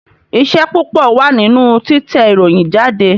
Iṣẹ́ púpọ̀ wà nínú títẹ ìròyìn jáde